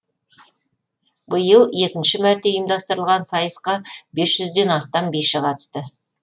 биыл екінші мәрте ұйымдастырылған сайысқа бес жүзден астам биші қатысты